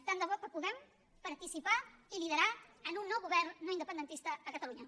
tant de bo que puguem participar i liderar en un nou govern no independentista a catalunya